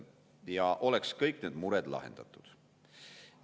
Ja oleks kõik need mured lahendatud.